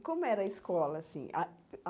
E como era a escola, assim?